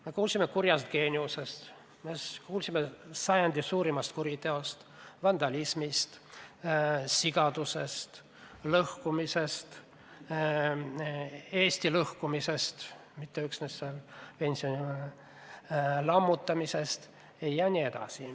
Me kuulsime kurjast geeniusest, siis kuulsime sajandi suurimast kuriteost, vandalismist, sigadusest, lõhkumisest, Eesti lõhkumisest, mitte üksnes pensionisüsteemi lammutamisest.